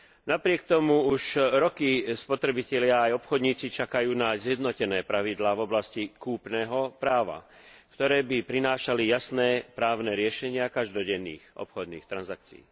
Napriek tomu už roky spotrebitelia aj obchodníci čakajú na zjednotené pravidlá v oblasti kúpneho práva, ktoré by prinášali jasné právne riešenia každodenných obchodných transakcií.